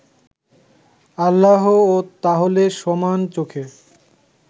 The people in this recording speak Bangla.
আল্লাহও তাহলে সমান চোখে